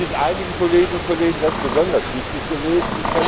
Das ist einigen Kolleginnen und Kollegen ganz besonders wichtig gewesen.